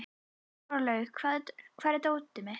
Hárlaugur, hvar er dótið mitt?